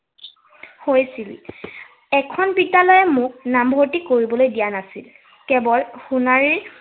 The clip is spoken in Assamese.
হৈছিল। এখন বিদ্য়ালয়ে মোক নামভৰ্তি কৰিবলৈ দিয়া নাছিল। কেৱল সোণাৰীৰ